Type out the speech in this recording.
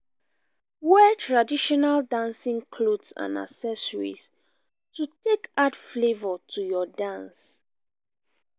wear traditional dancing cloth and accessories to take add flavour to your dance